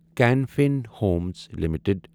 can Fin Homes limited